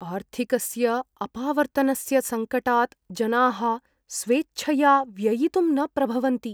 आर्थिकस्य अपावर्त्तनस्य सङ्कटात् जनाः स्वेच्छया व्ययितुं न प्रभवन्ति।